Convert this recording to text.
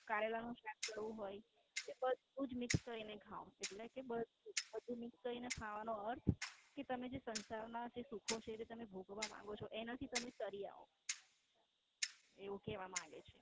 કરેલા નું શાક કડવું હોય તે બધું Mixed કરીને ખાવ એટલે કે બધું Mixed કરીને ખાવાનો અર્થ કે તમે જે સંસાર ના સુખે છે એ ભોગવવા માંગો છો એનાથી તમે તારી આઓ એવું લેવા માંગે છે.